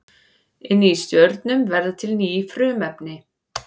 Inni í stjörnum verða til ný frumefni.